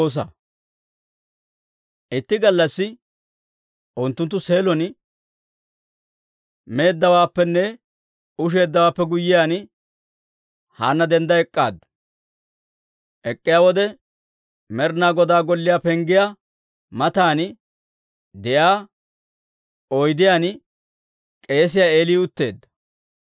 Itti gallassi unttunttu Seelon meeddawaappenne usheeddawaappe guyyiyaan, Haanna dendda ek'k'aaddu. Ek'k'iyaa wode, Med'inaa Godaa golliyaa penggiyaa matan de'iyaa oydiyaan k'eesiyaa Eeli utteedda.